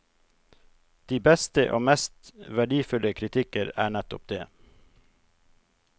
De beste og mest verdifulle kritikker er nettopp det.